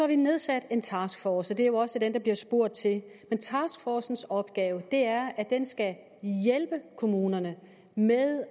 vi nedsat en taskforce og det er jo også den der bliver spurgt til men taskforcens opgave er at den skal hjælpe kommunerne med